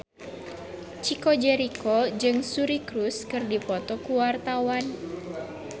Chico Jericho jeung Suri Cruise keur dipoto ku wartawan